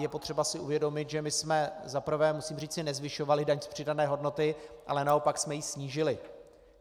Je potřeba si uvědomit, že jsme za prvé, musím říci, nezvyšovali daň z přidané hodnoty, ale naopak jsme ji snížili.